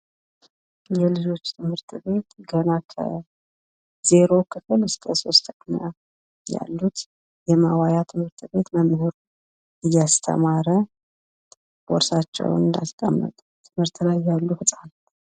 የልጆች ትምህርት ቤት ገና ከ0 ክፍል እስከ 3ኛ ክፍል ያሉበት የማዋያ ትምህርት ቤት መምህር እያስተማረ ቦርሳቸውን አስቀምጠው ትምህርት ላይ ያሉ ህጻናት።